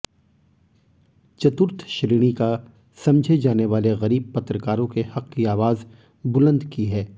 चतुर्थ श्रेणी का समझे जाने वाले ग़रीब पत्रकारों के हक़ की आवाज़ बुलंद की है